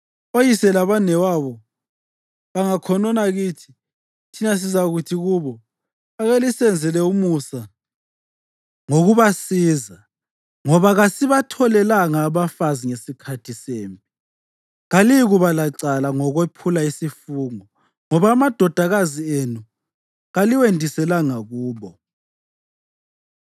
Oyise labanewabo bangakhonona kithi, thina sizakuthi kubo, ‘Ake lisenzele umusa ngokubasiza, ngoba kasibatholelanga abafazi ngesikhathi sempi. Kaliyikuba lacala ngokwephula isifungo, ngoba amadodakazi enu kaliwendiselanga kubo.’ ”